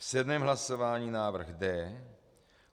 V sedmém hlasování návrh D.